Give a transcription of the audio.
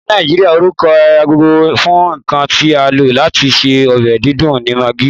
Ni Naijiria, orukọ gbogbogbo fun nkan ti a lo lati ṣe ọbẹ didùn ni Maggi.